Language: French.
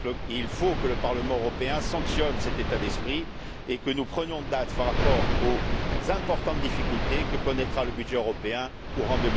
Il faut que le Parlement européen sanctionne cet état d'esprit et que nous prenions date par rapport aux importantes difficultés que connaîtra le budget européen courant